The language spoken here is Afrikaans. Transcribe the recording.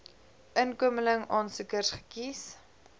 inkomeling aansoekers gekies